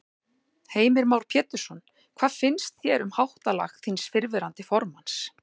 Heimir Már Pétursson: Hvað finnst þér um það háttalag þíns fyrrverandi formanns?